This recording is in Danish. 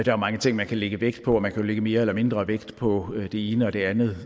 jo mange ting man kan lægge vægt på og man kan lægge mere eller mindre vægt på det ene og det andet